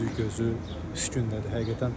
Bütün üzü gözü üşgünlədi.